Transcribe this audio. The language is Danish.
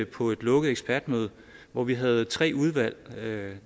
på et lukket ekspertmøde hvor vi havde tre udvalg